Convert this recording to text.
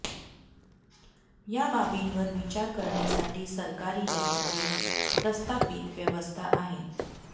या बाबींवर विचार करण्यासाठी सरकारी यंत्रणेत प्रस्थापित व्यवस्था आहे